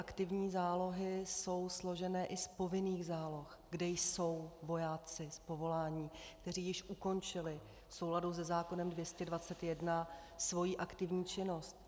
Aktivní zálohy jsou složeny i z povinných záloh, kde jsou vojáci z povolání, kteří již ukončili v souladu se zákonem 221 svoji aktivní činnost.